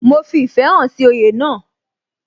Mo fi ìfẹ́ hàn sí oyè náà